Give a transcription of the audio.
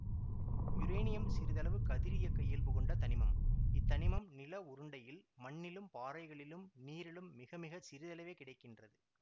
uranium சிறிதளவு கதிரியக்க இயல்பு கொண்ட தனிமம் இத் தனிமம் நில உருண்டையில் மண்ணிலும் பாறைகளிலும் நீரிலும் மிகமிகச் சிறிதளவே கிடை கின்றது